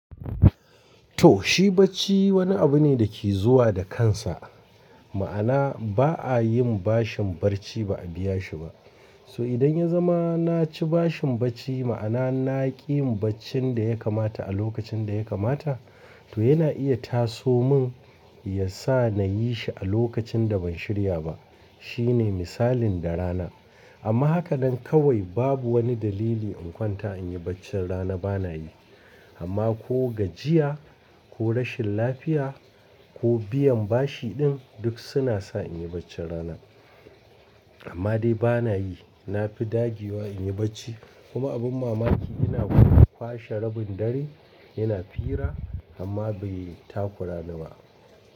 To shi bacci wani abu ne da ke zuwa da kansa. Ma'ana ba a yin bashin bacci ba a biya shi ba. To idan ya zama na ci bashin bacci ma'ana na ƙi yin baccin da ya kamata a lokacin da ya kamata, to yana iya taso mun ya sa na yi shi a lokacin da ban shirya ba. Shi ne misalin da rana. Amma haka nan kawai babu wani dalili in kwanta in yi baccin rana bana yi. Amma ko gajiya ko rashin lafiya ko biyan bashi ɗin duk suna sa in yi baccin rana. Amma dai bana yi. Na fi dagewa in yi bacci. Kuma abin mamaki ina kuma kwashe rabin dare ina fira amma bai takura ni ba.